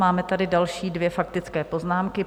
Máme tady další dvě faktické poznámky.